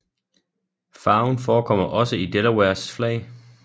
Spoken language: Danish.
Farven forekommer også i Delawares flag